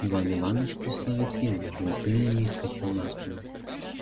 иван иваныч при слове три взмахнул крыльями и вскочил на спину